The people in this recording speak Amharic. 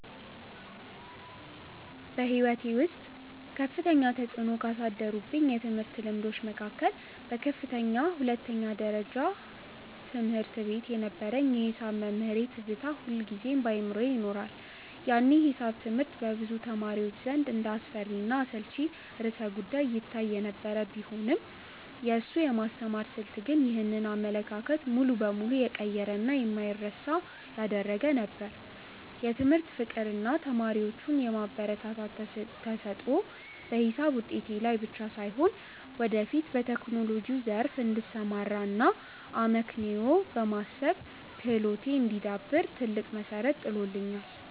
በሕይወቴ ውስጥ ከፍተኛ ተፅዕኖ ካሳደሩብኝ የትምህርት ልምዶች መካከል በከፍተኛ ሁለተኛ ደረጃ ትምህርት ቤት የነበረኝ የሒሳብ መምህሬ ትዝታ ሁልጊዜም በአእምሮዬ ይኖራል። ያኔ ሒሳብ ትምህርት በብዙ ተማሪዎች ዘንድ እንደ አስፈሪና አሰልቺ ርዕሰ-ጉዳይ ይታይ የነበረ ቢሆንም፣ የእሱ የማስተማር ስልት ግን ይህንን አመለካከት ሙሉ በሙሉ የቀየረና የማይረሳ ነበር። የትምህርት ፍቅር እና ተማሪዎቹን የማበረታታት ተሰጥኦ በሒሳብ ውጤቴ ላይ ብቻ ሳይሆን፣ ወደፊት በቴክኖሎጂው ዘርፍ እንድሰማራ እና አመክንዮአዊ የማሰብ ክህሎቴ እንዲዳብር ትልቅ መሠረት ጥሎልኛል።